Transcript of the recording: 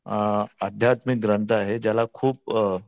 अ अध्यात्मिक ग्रंथ आहे ज्याला खूप